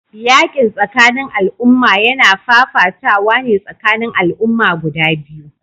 Yakin tsakanin al'umma yana fafatawa ne tsakanin al'umma guda biyu